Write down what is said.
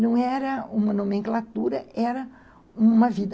Não era uma nomenclatura, era uma vida.